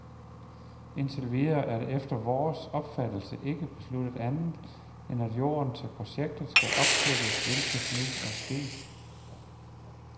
Indtil videre er der efter vores opfattelse ikke besluttet andet, end at jorden til projektet skal opkøbes, hvilket nu er sket.